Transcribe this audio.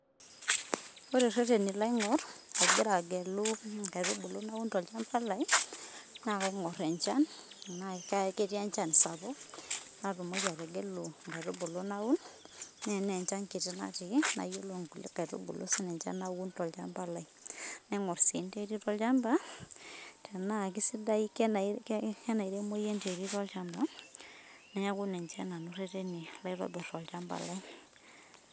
ore ereteni laingor angira angelu inkaitubulu naun tolchamba lai na kaigorr enchan tena ketii enchan sapuk natumoki ategelu inkaitubulu naun, na ena enchan kiti nati, nayiolou inkulie kaitubulu si naun tolchamba lai naingor si enterit olchamba tena kisidai tena kenairemoyu enterit olchamba niaku ninche nanu ireteni laitobir olchamba lai.